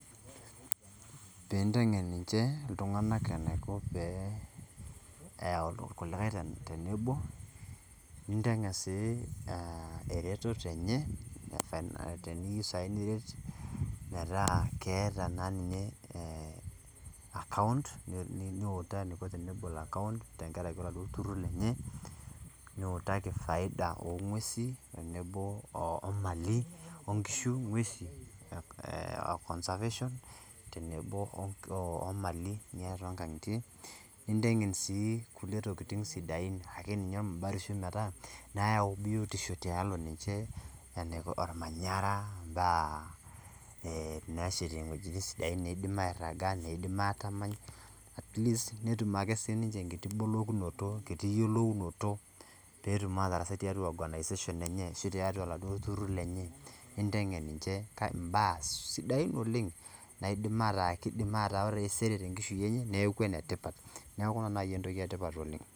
Pintengen ninche iltunganak enaiko pee eyau kulikae tenebo , nintegen sii ereteto enye , teniyieu sai niret metaa keeta naa ninye account , niutaa eniko tenebol account , tenkaraki oladuo turur lenye, niutaki faida ongwesi tenebo omali onkishu ngwesi ee oconservation ee tenebo omali naatae toonkangitie , nintengen sii kulie tokitin sidain ormabatishioi metaa , nayau biotiosho tialo ninche , enaiko ormanyara , imbaa ee nashetie iwuejitin sidain neidim airaga, neidim atamal , atleast netum akesiniche enkiti bolokinoto, enkiti yiolounoto petum atasai tiatua organisation enye ashu tiatua oladuo turur lenye , nintengen ninche mbaa sidain oleng naidim ataa, kidim ore taisere tenkishui enye niaku enetipat, niaku ina nai entoki etipat oleng.